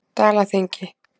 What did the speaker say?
Dalaþingi